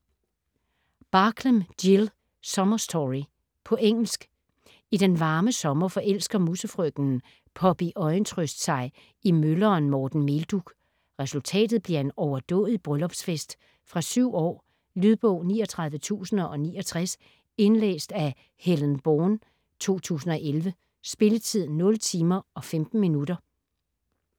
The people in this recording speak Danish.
Barklem, Jill: Summer story På engelsk. I den varme sommer forelsker musefrøkenen Poppy Øjentrøst sig i mølleren Morten Meldug. Resultatet bliver en overdådig bryllupsfest. Fra 7 år. Lydbog 39069 Indlæst af Helen Bourne, 2011. Spilletid: 0 timer, 15 minutter.